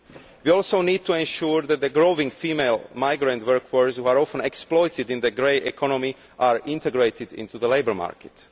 We also need to ensure that the growing female migrant workforce, which is often exploited in the grey economy, is integrated into the labour market.